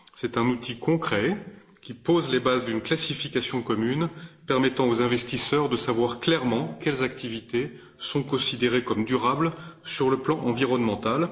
C'est un outil concret qui pose les bases d'une classification commune permettant aux investisseurs de savoir clairement quelles activités sont considérées comme durables sur le plan environnemental.